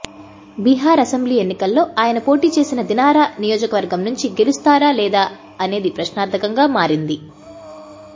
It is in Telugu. బీహార్ అసెంబ్లీ ఎన్నికల్లో ఆయన పోటీచేసిన దినార నియోజకవర్గం నుంచి గెలుస్తారా లేదా అనేది ప్రశ్నార్ధకంగా మారింది